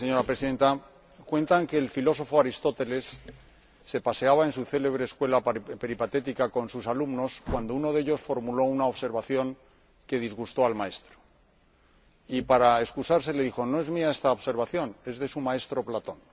Señora Presidenta, cuentan que el filósofo Aristóteles se paseaba en su célebre escuela peripatética con sus alumnos cuando uno de ellos formuló una observación que disgustó al maestro y, para excusarse, le dijo no es mía esta observación, es de su maestro Platón.